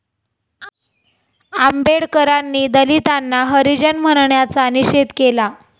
आंबेडकरांनी दलितांना हरिजन म्हणण्याचा निषेध केला